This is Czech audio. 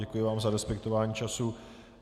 Děkuji vám za respektování času.